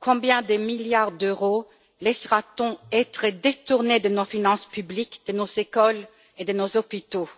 Combien de milliards d'euros laissera t on être détournés de nos finances publiques, de nos écoles et de nos hôpitaux?